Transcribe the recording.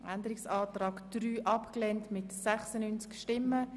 Abänderungsantrag/ Planungserklärung Grüne [